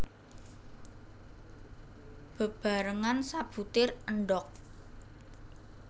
Bebarengan sabutir endhog